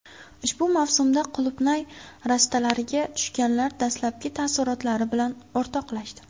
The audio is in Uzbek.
Ushbu mavsumda qulupnay rastalariga tushganlar dastlabki taassurotlari bilan o‘rtoqlashdi .